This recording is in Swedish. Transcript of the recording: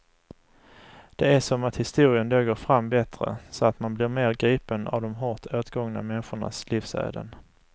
Det är som att historien då går fram bättre, som att man blir mer gripen av de hårt åtgångna människornas livsöden.